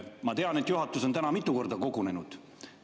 Ma tean, et juhatus on täna mitu korda kogunenud.